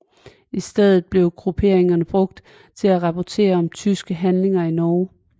I stedet blev grupperinger brugt for at rapportere om tyskernes handlinger i Norge